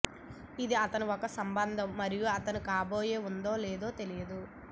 ఇది అతను ఒక సంబంధం మరియు తన కాబోయే ఉంది లేదో తెలియదు